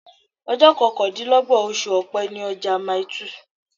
Ọjọ́ kọkàndínlọ́gbọ̀n oṣù Ọ̀pẹ ni ọjọ́ ọjà Mile two.